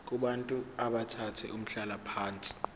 kubantu abathathe umhlalaphansi